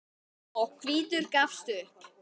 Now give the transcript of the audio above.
og hvítur gafst upp.